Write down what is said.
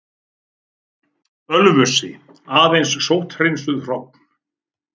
Ölfusi, aðeins sótthreinsuð hrogn.